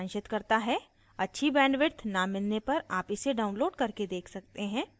अच्छी bandwidth न मिलने पर आप इसे download करके देख सकते हैं